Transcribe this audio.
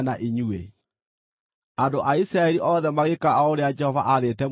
Andũ a Isiraeli othe magĩĩka o ũrĩa Jehova aathĩte Musa na Harũni.